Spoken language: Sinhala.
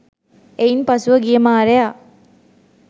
එයින් පසුව ගිය මාරයා